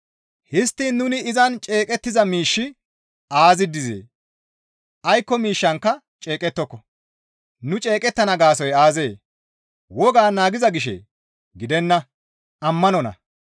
Histtiin nuni izan ceeqettiza miishshi aazi dizee? Aykko miishshankka ceeqettoko; nu ceeqettana gaasoykka aazee? Wogaa naagiza gishee? Gidenna; ammanonna.